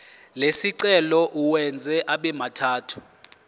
lesicelo uwenze abemathathu